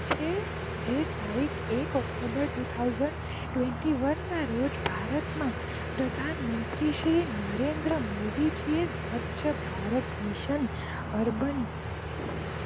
જે ત્તારીખ એક ઓક્ટોબર બે હાજર એકવીસ ના રોજ ભારત માં પ્રધાનમંત્રી શ્રી ભારત ના મોદીજી સ્વચ્છ ભારત મિશન અર્બન